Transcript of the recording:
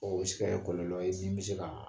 Ɔ o bɛ se kɛ kɔlɔlɔ ye min bɛ se ka